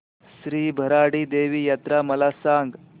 श्री भराडी देवी यात्रा मला सांग